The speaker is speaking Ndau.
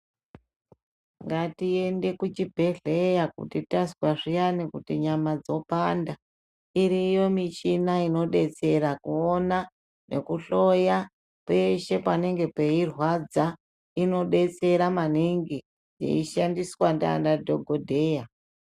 Ngatiende kuchibhedhleya kuti tazwa zviyani kuti nyama dzopanda iriyo muchina inodetsera kuona nekuhloya peshe panenge peirwadza inodetsera maningi yeishandiswa ndaana dhokodheya .